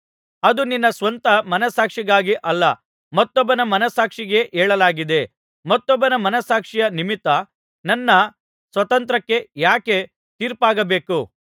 ಅದು ನಿನ್ನ ಸ್ವಂತ ಮನಸ್ಸಾಕ್ಷಿಗಾಗಿ ಅಲ್ಲ ಮತ್ತೊಬ್ಬನ ಮನಸ್ಸಾಕ್ಷಿಗಾಗಿಯೇ ಹೇಳಲಾಗಿದೆ ಮತ್ತೊಬ್ಬನ ಮನಸ್ಸಾಕ್ಷಿಯ ನಿಮಿತ್ತ ನನ್ನ ಸ್ವಾತಂತ್ರ್ಯಕ್ಕೆ ಯಾಕೆ ತೀರ್ಪಾಗಬೇಕು